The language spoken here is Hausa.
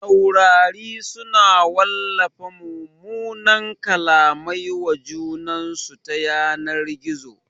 Taurari su na wallafa mumunan kallamai wa junansu ta yanar gizo